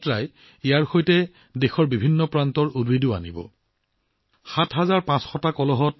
এই যাত্ৰাত দেশৰ বিভিন্ন প্ৰান্তৰ পৰাও গছপুলি লৈ আহিব